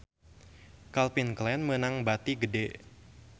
Calvin Klein meunang bati gede